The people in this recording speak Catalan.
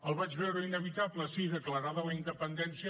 el vaig veure inevitable sí declarada la independència